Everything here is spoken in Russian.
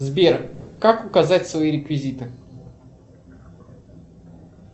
сбер как указать свои реквизиты